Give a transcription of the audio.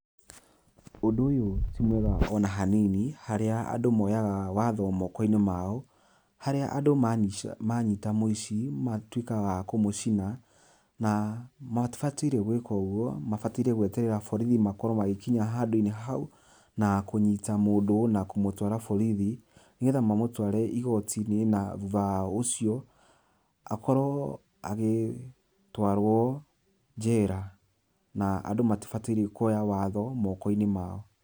Ũndũ ũyũ ti mwega ona hanini harĩa andũ moyaga watho moko-inĩ mao, harĩa andũ manish manyita mũici matuĩkaga a kũmũcina na matibatire gwĩka ũgwo, mabataire gweterera borithi makorwo magĩkinya handũ-inĩ hau na kũnyita mũndũ na kũmũtwara borithi nĩgetha mamũtware igoti-inĩ na thutha ucio akorwo agĩ twarwo njera na andũ matibataire kuoya watho moko-inĩ mao.